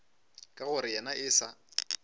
ka gore yena e sa